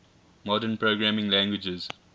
modern programming languages